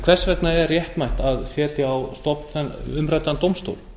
hvers vegna er réttmætt að setja á stofn umræddan dómstól